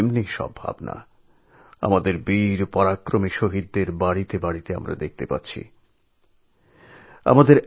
এই ভাবনাই আমাদের বীর সাহসী শহিদদের ঘরে ঘরে দেখতে পাওয়া যায়